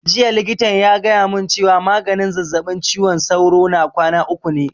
Jiya likitan ya gaya mun cewa maganin zazzaɓin ciwon sauro na kwana uku ne